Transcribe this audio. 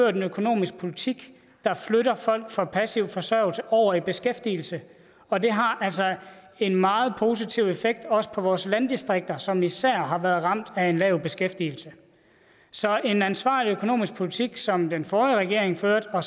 en økonomisk politik der flytter folk fra passiv forsørgelse over i beskæftigelse og det har altså en meget positiv effekt også på vores landdistrikter som især har været ramt af en lav beskæftigelse så en ansvarlig økonomisk politik som den forrige regering førte og